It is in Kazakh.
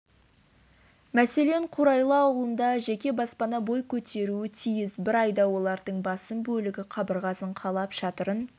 мәселен қурайлы ауылында жеке баспана бой көтеруі тиіс бір айда олардың басым бөлігі қабырғасын қалап шатырын